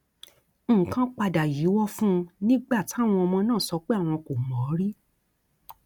nǹkan padà yíwọ fún un nígbà táwọn ọmọ náà sọ pé àwọn kò mọ ọn rí